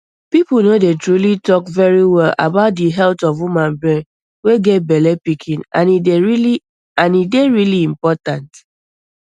pipo no dey truly tok verywell about di health of woman brain wey get bellepikin and e dey rili important